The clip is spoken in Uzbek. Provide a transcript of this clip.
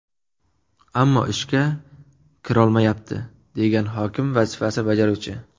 Ammo ishga kirolmayapti”, degan hokim vazifasini bajaruvchi.